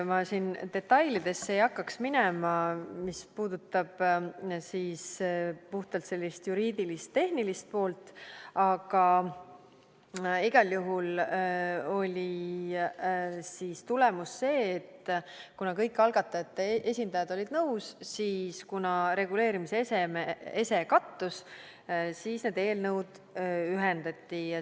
Ma siin detailidesse ei hakkaks minema, mis puudutab juriidilist, tehnilist poolt, aga igal juhul oli siis tulemus see, et kuna kõik algatajate esindajad olid nõus ja kuna reguleerimise ese kattus, siis need eelnõud ühendati.